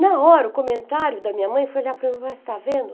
Na hora, o comentário da minha mãe foi olhar para está vendo?